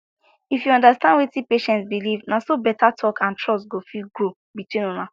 if you understand wetin patient believe na so better talk and trust go fit grow between una